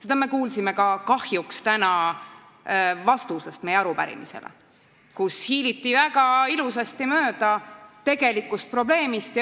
Seda me kuulsime kahjuks ka täna meie arupärimise vastusest, kus hiiliti väga ilusasti mööda tegelikust probleemist.